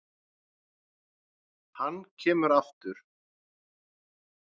Hann kemur aftur.